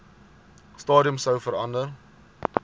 stadium sou verander